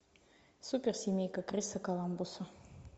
суперсемейка криса коламбуса